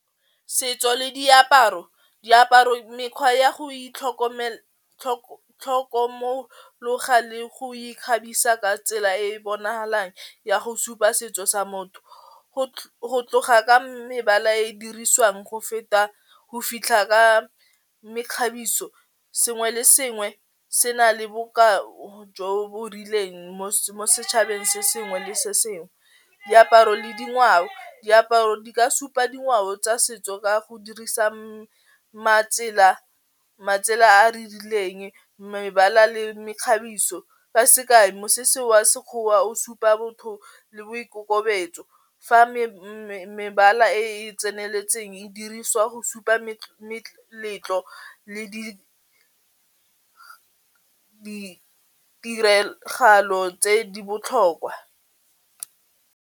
Setso le diaparo, diaparo mekgwa ya go itlhokomologa le go ikgabisa ka tsela e bonagalang ya go supa setso sa motho, go tloga ka mebala e dirisiwang go feta go fitlha ka mekgabiso, sengwe le sengwe se na le bokao jo bo rileng mo setšhabeng se sengwe le sengwe. Diaparo le dingwao, diaparo di ka supa dingwao tsa setso ka go dirisa matsela a re rileng mebala le mekgabiso sekae mo se se wa sekgowa o supa botho le boikokobetso fa mebala e e tseneletseng e dirisiwa go supa meletlo le ditiragalo tse di botlhokwa.